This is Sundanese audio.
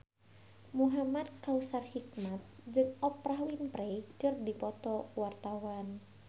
Muhamad Kautsar Hikmat jeung Oprah Winfrey keur dipoto ku wartawan